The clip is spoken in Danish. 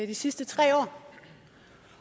de sidste tre år